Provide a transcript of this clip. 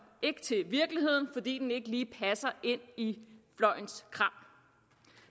ikke til virkeligheden fordi den ikke lige passer ind i fløjens kram